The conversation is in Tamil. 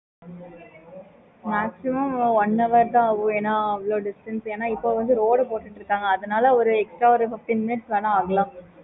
okay mam